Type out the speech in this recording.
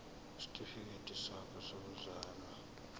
isitifikedi sakho sokuzalwa